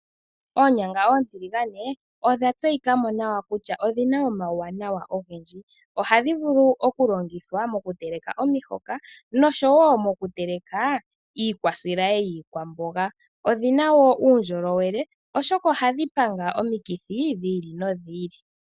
Oonyanga oontiligane odha tseyika mo nawa kutya odhina omauwanawa ogendji. Ohadhi vulu okulongithwa mokuteleka omihoka noshowo mokuteleka iikwasilayi yiikwamboga. Odhina uundjolowele oshoka ohadhi panga omikithi dhi ili nodhi.